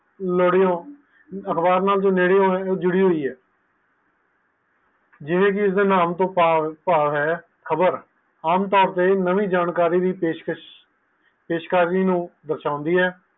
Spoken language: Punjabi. ਅਖਬਾਰ ਨਾਲ ਨੇੜੇ ਹੋਏ ਜੋ ਜੁੜਦੀ ਹੁਈ ਹੈ ਜਿਵੇ ਕਿ ਇਸ ਦੇ ਨਾਮੁ ਤੋਂ ਪਾਵ ਹੈ ਖ਼ਬਰ ਨਾਇ ਜਾਣਕਾਰੀ ਦੀ ਪੇਸ਼ਕਸ਼ ਨੂੰ ਦਰ੍ਸ਼ਨਦੀ ਹੈ